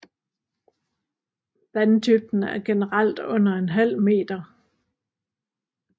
Vanddybden er generelt under en halv meter